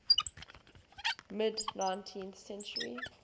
mid nineteenth century